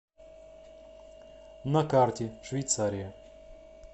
на карте швейцария